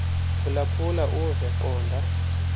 phulaphula uve qonda